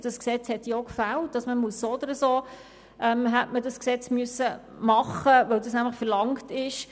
Dieses Gesetz hat auch gefehlt, und man hätte es ohnehin machen müssen, weil das nämlich verlangt ist.